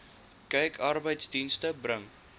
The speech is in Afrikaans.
kyk arbeidsdienste bring